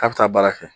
K'a bɛ taa baara kɛ